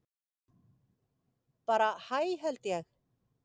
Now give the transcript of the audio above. Bara hæ held ég.